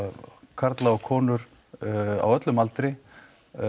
karla og konur á öllum aldri